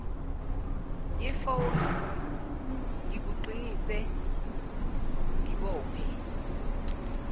yefoni ngikuqinise ngibophe